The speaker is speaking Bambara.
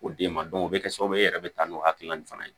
K'o d'e ma o bɛ kɛ sababu ye e yɛrɛ bɛ taa n'o hakilina in fana ye